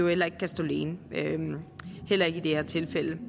heller ikke kan stå alene heller ikke i det her tilfælde